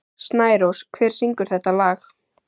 Snærós, hver syngur þetta lag?